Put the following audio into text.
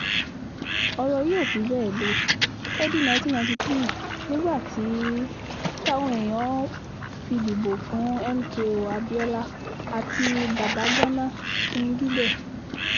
ọ̀rọ̀ yìí ò fi bẹ́ẹ̀ le lọ́dún nineteen ninety three nígbà tí um] táwọn èèyàn fi dìbò fún mko abiola àti babagana kingibẹ